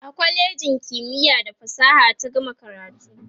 a kwalejin kimiya da fasaha ta gama karatu